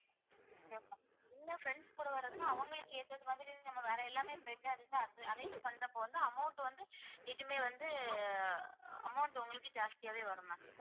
என்ன friends கூட வரணும்னா அவங்களுக்கு ஏத்தது மாதிரி நம்ம வேற எல்லாமே bed ல arrange பண்றப்போ வந்து amount வந்து எதுவுமே வந்து amount உங்களுக்கு ஜாஸ்தியாவே வரும் ma'am